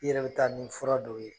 I yɛrɛ bi taa ni fura dɔw ye